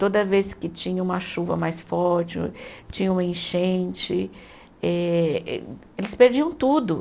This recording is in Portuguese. Toda vez que tinha uma chuva mais forte, tinha um enchente, eh eles perdiam tudo.